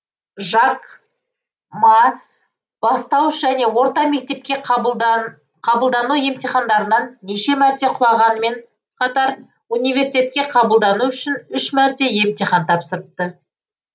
жак ма бастауыш және орта мектепке қабылдану емтихандарынан неше мәрте құлағанымен қатар университетке қабылдану үшін үш мәрте емтихан тапсырыпты